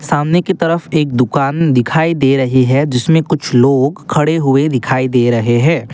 सामने की तरफ एक दुकान दिखाई दे रही है जिसमें कुछ लोग खड़े हुए दिखाई दे रहे हैं।